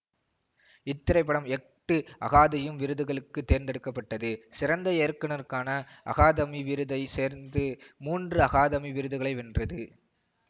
இத்திரைப்படம் எட்டு அகாதயம் விருதுகளுக்கு தேர்ந்தெடுக்க பட்டது சிறந்த இயக்குனருக்கான அகாதமி விருதையும் சேர்ந்து மூன்று அகாதமி விருதுகளை வென்றது